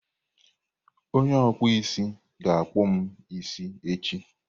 Onye okpụ isi ga akpụm isi echi.